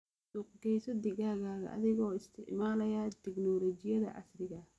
Suuqgeyso digaaggaaga adigoo isticmaalaya tignoolajiyada casriga ah.